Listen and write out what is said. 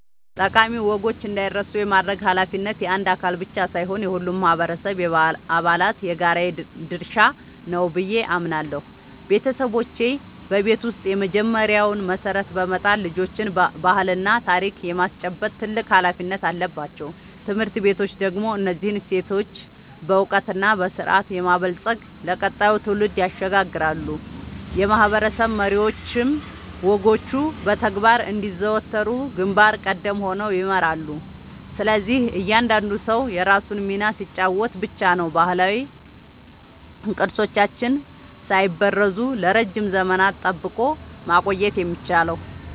ጠቃሚ ወጎች እንዳይረሱ የማድረግ ኃላፊነት የአንድ አካል ብቻ ሳይሆን የሁሉም ማህበረሰብ አባላት የጋራ ድርሻ ነው ብዬ አምናለሁ። ቤተሰቦች በቤት ውስጥ የመጀመሪያውን መሰረት በመጣል ልጆችን ባህልና ታሪክ የማስጨበጥ ትልቅ ኃላፊነት አለባቸው። ትምህርት ቤቶች ደግሞ እነዚህን እሴቶች በዕውቀትና በስርዓት በማበልጸግ ለቀጣዩ ትውልድ ያሸጋግራሉ፤ የማህበረሰብ መሪዎችም ወጎቹ በተግባር እንዲዘወተሩ ግንባር ቀደም ሆነው ይመራሉ። ስለዚህ እያንዳንዱ ሰው የራሱን ሚና ሲጫወት ብቻ ነው ባህላዊ ቅርሶቻችንን ሳይበረዙ ለረጅም ዘመናት ጠብቆ ማቆየት የሚቻለው።